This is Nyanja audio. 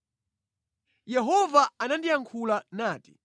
Yehova anandiyankhula nati: